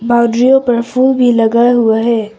पर फूल भी लगाया हुआ है।